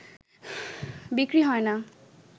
বিক্রি হয় না